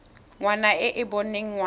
ngwana e e boneng ngwana